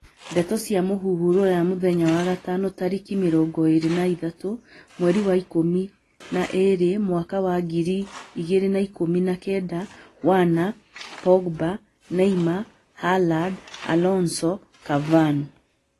Ndeto cia mūhuhu Ruraya mũthenya wa Gatano tariki mĩrongo ĩĩrĩ na ĩthathatũ, mweri wa ikũmi na ĩĩrĩ, mwaka wa ngiri igĩrĩ na ikũmi na kenda: Werner, Pogba, Neymar, Haaland, Alonso, Cavani